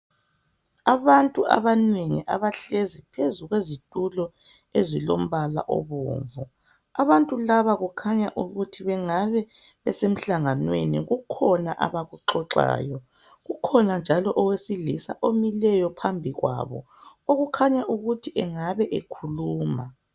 Abantu abanengi bahlezi phezu kwezitulo ezilombala obomvu. Abantu laba kukhanya ukuthi bengaba besemhlanganweni kukhona abakuxoxayo. Kulowesilisa ome phambi kwabo okhulumayo.